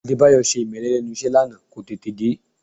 Adébáyọ̀ ṣe ìmẹ́lẹ́ lẹ́nu iṣẹ́ lánàá, kò tètè dé